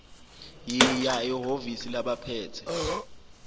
yiya ehhovisi labaphethe